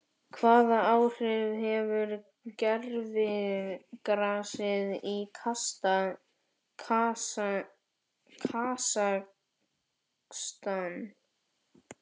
Hvaða áhrif hefur gervigrasið í Kasakstan?